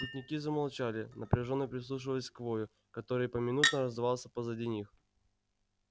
путники замолчали напряжённо прислушиваясь к вою которьгй поминутно раздавался позади них